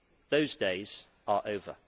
Those days are over.